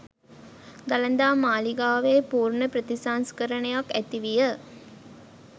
දළදා මාලිගාවේ පූර්ණ ප්‍රතිසංස්කරණයක් ඇති විය.